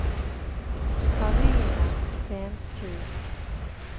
Karine Stensrud